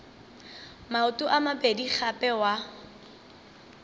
maoto a mabedi gape wa